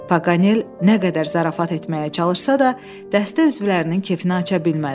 Paqanel nə qədər zarafat etməyə çalışsa da, dəstə üzvlərinin kefini aça bilmədi.